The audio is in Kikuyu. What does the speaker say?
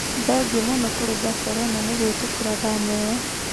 "Thengio mũno kurĩ Baselona nĩguĩtĩkira thama ĩyo.